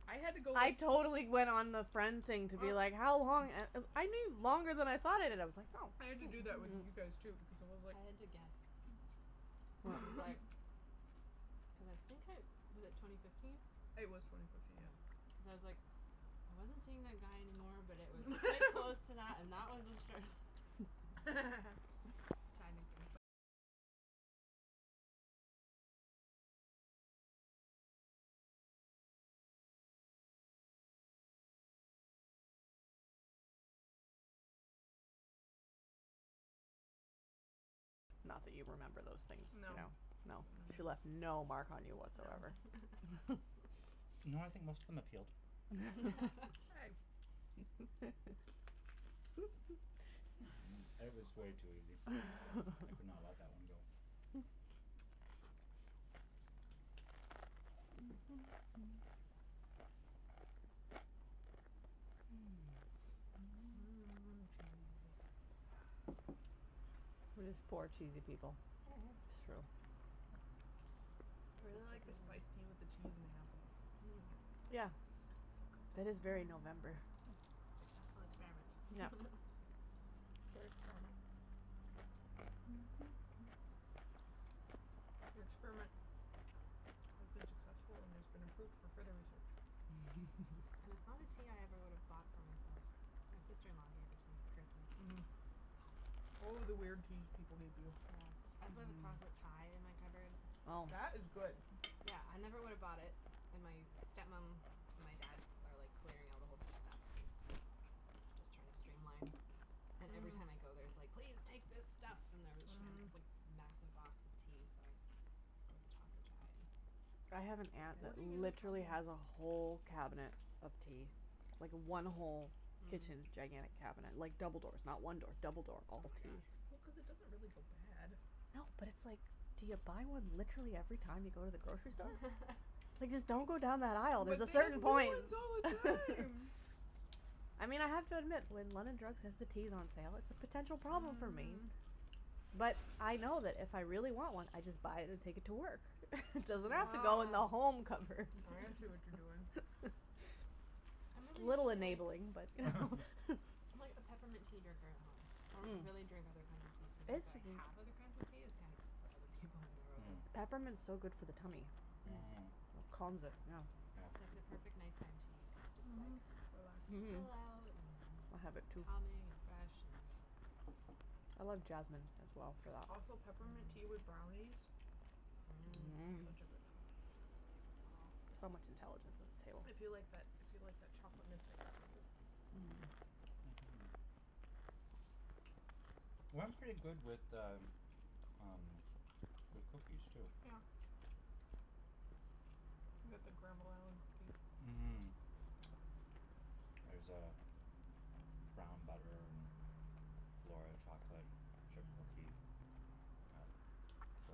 I had to go I totally went on the friend Well, thing to be like, how long, a- u- I knew longer than I thought I did. I was like Oh. I had to do that with you guys, too, because it was like I had to guess. It What? was like. Cuz I think I was it twenty fifteen? It was twenty fifteen, yes. Cuz I was like, I wasn't seeing that guy anymore, but it was quite close to that, and that was obstruct Not that you remember those things, no, no. She left no mark on you whatsoever. No. No, I think most of them have healed. Hey. It was way too easy, I could not let that one go. Mm, cheesy. We're just four cheesy people. Mhm. It's I really like the spiced tea with true. the cheese and the apples, it's Mm. like Yeah, so good. that is very November. Successful Yep. experiment. Your experiment has been successful and has been approved for further research. And it's not a tea I ever would have bought Mhm. for myself, my sister in law gave it to me for Christmas. Mhm. Oh, the weird teas people people give you. Yeah. I still have a chocolate chai in my cupboard. Oh. That was good. Yeah, I never would have bought it, and my step mom and my dad are like clearing out a whole bunch of stuff and just trying to stream line And every Mhm. time I go there it's like, "Please take this stuff!" And there she had this like Mhm. massive box of tea so I scored the chocolate chai. I have an aunt that Hoarding is a trouble. literally has a whole cabinet of tea. Like, one whole kitchen gigantic cabinet like, double doors not one door, double door. All of tea. Well, cuz it doesn't really go bad. No but it's like, do you buy one literally every time you go to the grocery store? Like just don't go down that aisle, there's But a they have certain new point! ones all the time! I mean I have to admit when London Drugs has the teas on sale, it's a potential Mhm problem for me. mhm. But I know that if I really want one I just buy it and take it to work. Doesn't have to go in the Oh. home cupboard. I see what you're doing. I'm It's a really little usually like enabling, but I'm like a peppermint tea drinker at home. I don't Mm. really drink other kinds of teas so I don't have other kinds of tea is kind of for other people when they're over. It's Peppermint's so good for the tummy. Mm. Mm. Mmm. Calms it, yeah. I It's like Yeah. the perfect night time tea, cuz it just like Mhm. Relaxes me. Chill out and have have it, it too. calming, and fresh and I love jasmine, as well, for that. Also peppermint tea with brownies. Mm. Mmm. Mmm. Such a good thing. So much intelligence at this table. I feel like that, I feel like that chocolate chocolate mint thing which I do. Mhm. Well it's pretty good with the, um, with cookies too. Yeah. Can get the Granville Island cookies. Mmm. There's uh, brown butter and flora chocolate chip cookie at Mmm. the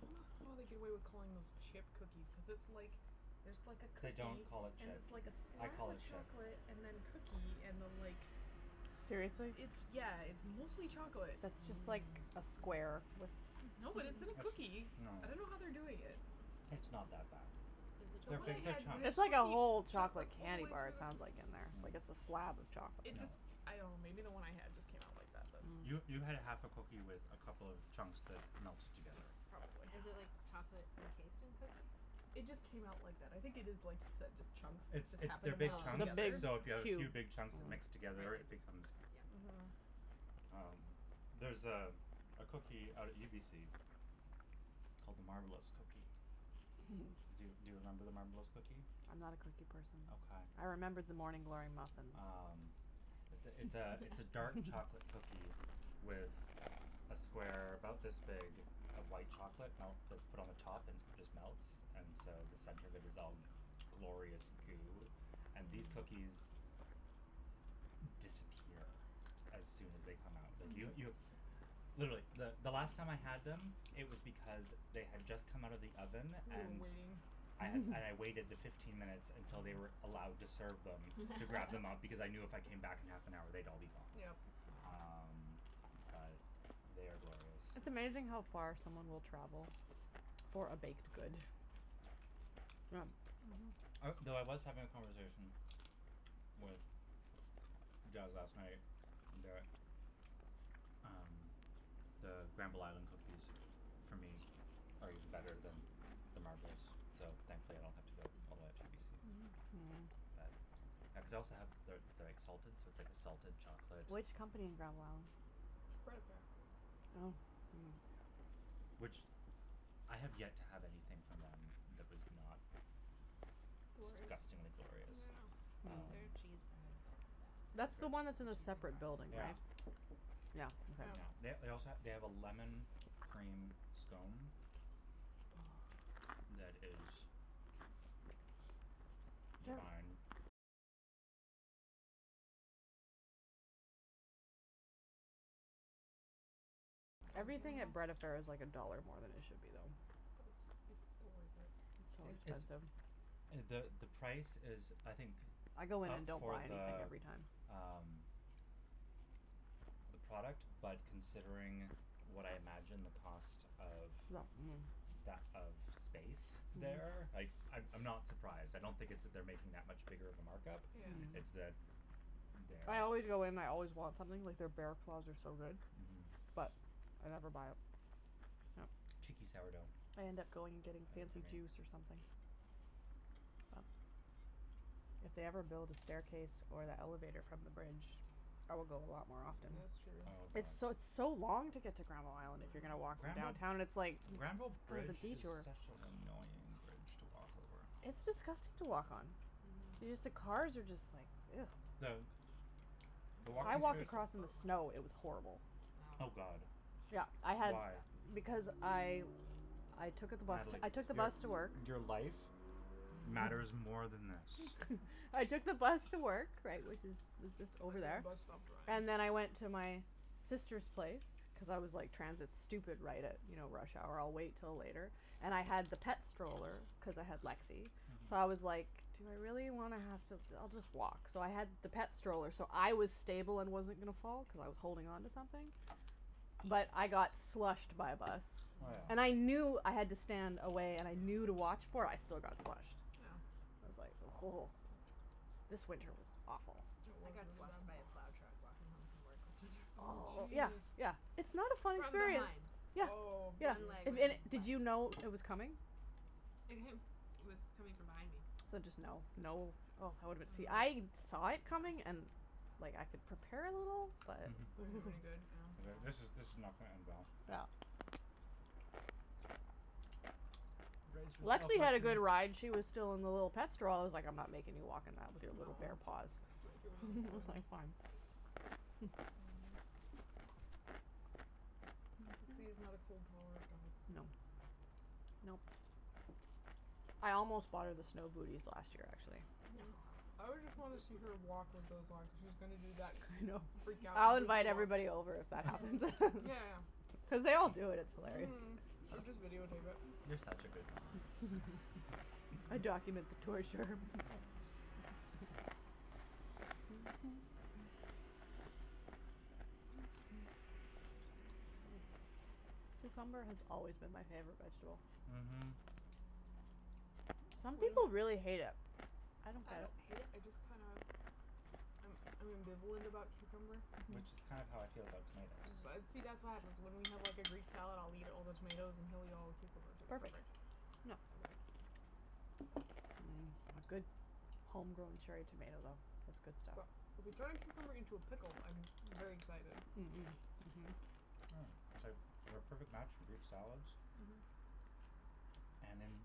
I dunno how they get away with calling those chip cookies cuz it's like, there's like a They cookie don't call it and chip. it's like a I slab call of it chip. chocolate, and then cookie, and then like, Mmm. Seriously? it's, yeah, it's mostly chocolate. Mmm. No, but it's in a cookie. It's, no. I dunno how they do it yet. It's not that bad. The They're one I big, big had, when chunks. the It's like a cookie whole chocolate chocolate all the candy way bar through it the c- sounds like, in there. Like it's a slab of chocolate. It Mm. No. just, I dunno maybe the one I had just came out like that but You, you had a half a cookie with a couple of chunks that melted together. Probably. Is it like chocolate encased in cookie? It just came out like that, I think it is just like you said, just chunks that It's just it's happened they're to big melt chunks, together. so if you have a Oh. few big chunks that mix It's together becomes Mhm. like Um, there's uh, a a cookie out at UBC big called the Marbleous cookie. cube. Do, do you remember the Marbleous cookie? I'm not a cookie person. Okay. I remember the Morning Glory muffins. Um, it's th- it's a it's a dark chocolate cookie with a square about this big of white chocolate melt that's put on the top and it just melts and so the center of it is all glorious Mm. goo, and these cookies, disappear as soon as they come out. Yo- Mhm. You You were literally the the last time I had them it was because they had just come out of the oven and waiting. I had and I waited the fifteen minutes until they were allowed to serve them to grab them up because I knew if I came back in half an hour they'd all be gone. Yep. Wow. Um, but they are glorious. It's amazing how far someone will travel for a baked good. Yeah. Mhm. I well, I was having a conversation with Jas last night that um, the Granville Island cookies for me are even better than the Marbleous, so thankfully I don't have to go all the way out to UBC. Mhm. But I cuz I also have the the exalted so it's like a salted Mm. chocolate Which company in Granville Island? Bread affair. Oh. Oh. Hmm. Mm. Which, I have yet to have anything from them that was not Glorious. disgustingly glorious. Yeah. Their cheese Um, bread is the best. is That's the one that's The in a cheese and it? separate building, garlic. right? Yeah. Yeah. Yep. They they also ha- they have a lemon cream scone that is Everything at Bread Affair is like a dollar more than it should be though. But it's it's still worth it. So It it's expensive. the the price is I think I go in up and don't for buy anything the every time. um the product. but considering what I imagine the cost of, Mm. that of that of space there, Mm. like, I'm I'm not surprised, I don't think it's that they're making that much bigger of a markup. Yeah. It's Mm. that there I always go in and I always want something, like, their bear claws are so good. Mhm. But I never buy it. Yep. Cheeky sourdough. I end up going and getting Heard it from fancy me. juice or something. If they ever build a staircase or the elevator from the bridge I will go a lot more often. That's true. Oh It's god. so, it's so long to get to Granville Island if you're gonna Mm. walk from Granville downtown and it's like, Granville cuz of the bridge is detour. such an annoying bridge to walk over. It's disgusting to walk on. Y- Mm. just the cars are just like The The I walking walked space across in the snow, it was horrible. I Oh know. god. Yeah, I had Why? Because I I took out the bus to, Natalie, I took the your bus to work. your life matters more than this. I took the bus to work right, which is, it's just And over then the there. bus stopped drying. And then I went to my sister's place cuz I was like, transit stupid, right at you know, rush hour, I'll wait till later. And I had the pet stroller cuz I had Lexi. Mhm. So I was like, "Do I really wanna have to, I'll just walk." So I had the pet stroller so I was stable and wasn't gonna fall, cuz I was holding onto something. But I got slushed by a bus. Oh yeah. And I Mm. knew I had to stand away and I knew to watch for it, I still got slushed. I was like This winter was awful. Yeah. It I was got slushed by really a bad. plow truck walking home from work last winter. Oh, Oh, yeah, jeez. yeah, it's not a fun From experience. behind. Yeah, Oh yeah, One leg if was just did wet. you know it was coming? It w- it was coming from behind me. So just, no, no, oh I woulda been, see I'm I like saw Yeah it coming and and like, I could prepare a little but Didn't do any good, yeah. It like, Yeah. this is this is not gonna end well. Yeah. Brace yourself, Lexi had a Lexi! good ride, she was still in the little pet stroll- I was like, I'm not making you walk in that with your Mm little aw. bare paws. She woulda been That was frozen. like fine. Mhm. Lexi is not a cold tolerant dog. No. Nope. I almost bought her the snow booties last year, actually. Mm. I would just wanna see her walk with those on cuz she was gonna do that I thing know. of freak out I'll goofy invite walk. everybody over if that happens. Yeah, yeah. Cuz they all do it, it's hilarious. Mhm! Or just video tape it. You're such a good mom. I'd document the torture. Yeah. Cucumber has always been my favorite vegetable. Mhm. Some people really hate it. I don't I don't hate it, I just kinda I'm I'm ambivalent about cucumber. Which is kind of how I feel about tomatoes. See, that's what happens, when we have like a greek salad, I'll eat all the tomatoes and he'll eat all the know cucumbers, it's Perfect. perfect. No. That works. Mm, a good homegrown cherry tomato, though, that's good But stuff. if you turn a cucumber into a pickle I'm very excited. Mm, mhm. Mm, it's like we're a perfect match for greek salads. Mhm. And in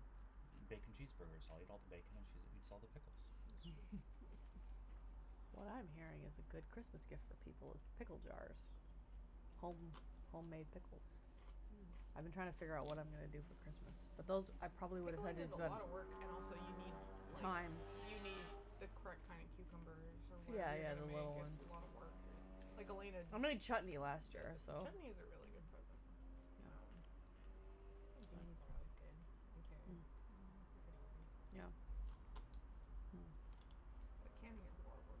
bacon cheeseburgers, I'll eat all the bacon and she's eats all the pickles. What I'm hearing is a good Christmas gift for people is pickle jars. Home homemade pickles. I've been trying to figure out what I'm gonna do Mm. for Christmas. But those, I probably would've Pickling is a lotta work. And also, you need, like Time. You need the correct kinda cucumbers, or Yeah, whatever you're yeah, gonna the make little ones. It's a lotta work or Like Elena I d- made chutney last Who does year, every- so Chutney is a really Mm. good present. Yeah. Um Pickled beans are always good, and carrots. They're Mhm. pretty easy. Yeah. Hmm. Mm. But canning is a lotta work.